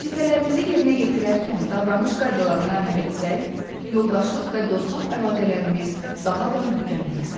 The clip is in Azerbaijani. Vəzifələrimizi yerinə yetirərkən davranış qaydalarına əməl etsək, yoldaşlıq və dostluq əlaqələrimiz daha da möhkəmlənər.